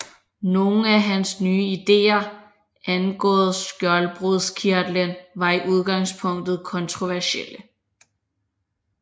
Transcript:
Nogle af hans nye idéer angående skjoldbruskkirtelen var i udgangspunktet kontroversielle